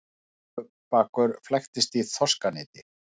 Hnúfubakur flæktist í þorskaneti